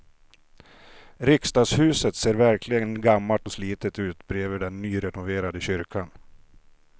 Riksdagshuset ser verkligen gammalt och slitet ut bredvid den nyrenoverade kyrkan.